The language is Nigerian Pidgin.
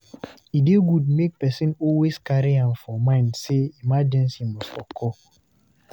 E dey good make person always carry am for mind sey emergency must occur